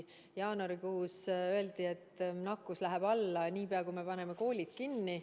Jaanuarikuus öeldi, et nakkus läheb alla, niipea kui me paneme koolid kinni.